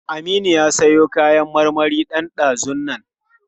Aminu ya siyo kayan marmari ɗan ɗazun nan.